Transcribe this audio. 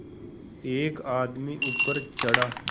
एक आदमी ऊपर चढ़ा